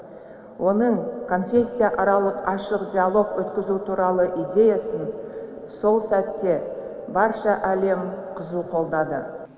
оның конфессияаралық ашық диалог өткізу туралы идеясын сол сәтте барша әлем қызу қолдады